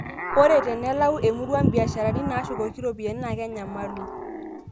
Ore enalau emurua imbiasharani naashukoki iropiyiani naa ekenyamalu